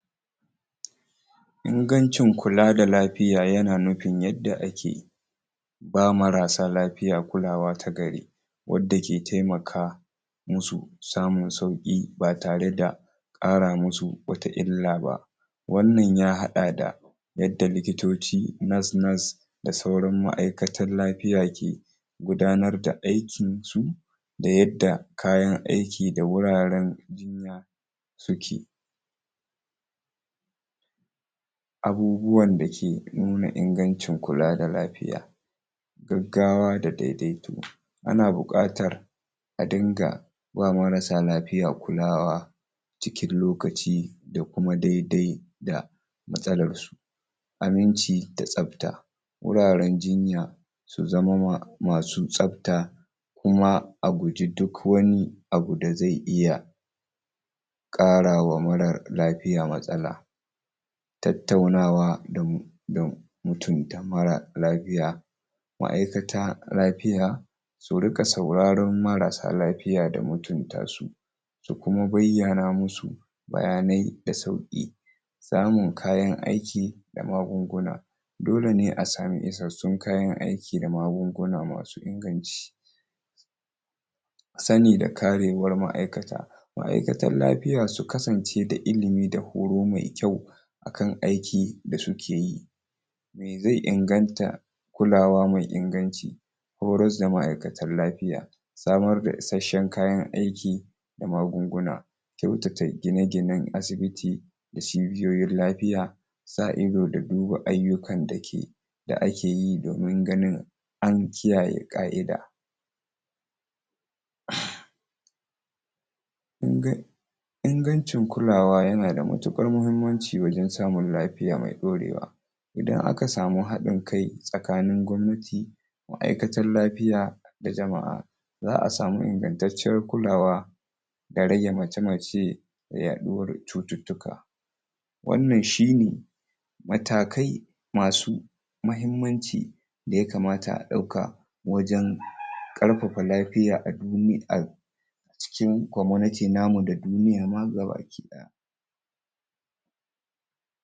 ingancin kula da lafiya yana nufin yadda ake ba marasa lafiya kulawa ta gari wadda ke taimaka musu samun sauki ba tare da ƙara musu bata illa ba wannan ya haɗa da yadda likitoci nurse nurse da sauran ma'aikatan lafiya ke gudanar da aikin su a yadda kayan aiki da wuraren suke abubuwan da da ke nuna inganci kula da lafiya gaggawa da daidaito ana buƙatar a dinga ba marasa lafiya kulawa cikin lokaci da kuma dai dai da matsalar su aminci da tsabta wuraren jinya su zamo ma masu tsabta kuma a guji duk wani abu da zai iya ƙarawa mara lafiya matsala tattaunawa damu da mu mutunta mara lafiya wa ya zata lafiya surinƙa saurar marasa lafiya fiya da mutunta su da kuma bayyana musu bayanai da sauki samun kayan aiki da magunguna dole ne a samu izar su tayin aiki da magunguna masu inganci sani da karewar ma'aikata ma'aikatar lafiya su kasance da ilimi da horo mai kyau akan aiki da sukeyi me zai inganta kulawa mai inganci horas da ma'aikatar lafiya samar da isasshen kayan aiki da magunguna kyautata gine ginen asibiti da cibiyoyin lafiya sa ido da duba aiyukan da ke da akeyi domin ganin an kiyaye ƙa'ida uhm kungani ingancin kulawa yana da matuƙar muhimmanci wajen samun lafiya mai dorewa idan aka samu haɗin kai tsakanin gwamnati da ma'aikatar lafiya da jama'a za'a samu ingantacciyar kulawa da rage mace mace yaɗuwar cututtuka wannan shine matakai masu muhimmanci da yakamata a ɗauka wajen ƙarfafa lafiya a duniyar cikin community namu da duniyar ma